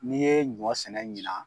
N'i yee ɲɔ sɛnɛ ɲinan